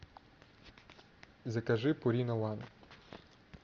закажи пурина ван